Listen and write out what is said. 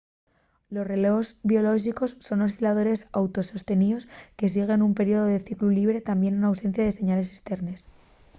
los relós biolóxicos son osciladores auto-sosteníos que siguen nun periodu de ciclu llibre tamién n’ausencia de señales esternes